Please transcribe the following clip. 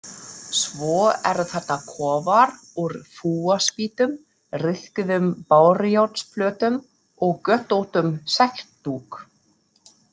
Svo eru þarna kofar úr fúaspýtum, ryðguðum bárujárnsplötum og götóttum segldúk.